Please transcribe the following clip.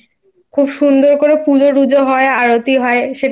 খুব সুন্দর করে পুজো টুজো হয় আরতি হয় সেটাও আমার